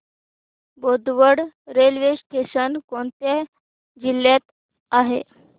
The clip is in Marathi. बोदवड रेल्वे स्टेशन कोणत्या जिल्ह्यात आहे